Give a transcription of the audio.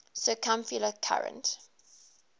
circumpolar current